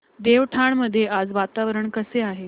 देवठाण मध्ये आज वातावरण कसे आहे